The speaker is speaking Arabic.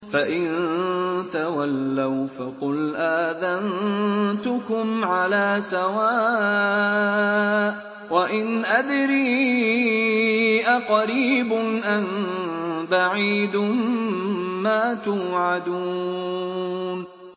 فَإِن تَوَلَّوْا فَقُلْ آذَنتُكُمْ عَلَىٰ سَوَاءٍ ۖ وَإِنْ أَدْرِي أَقَرِيبٌ أَم بَعِيدٌ مَّا تُوعَدُونَ